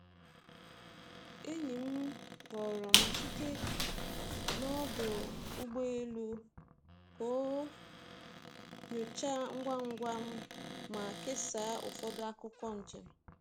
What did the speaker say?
Enyi m kpọrọ m site n’ ọdụ ụgbọ elu ka ọ nyochaa ngwa ngwa ma kesaa ụfọdụ akụkọ njem.